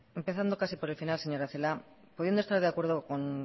empezando casi por el final señora celaá pudiendo estar de acuerdo con